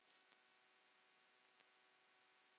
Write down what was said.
Mér var virðing af því.